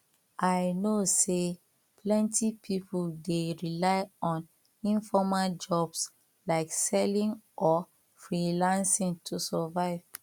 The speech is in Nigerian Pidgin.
i know say plenty people dey rely on informal jobs like selling or freelancing to survive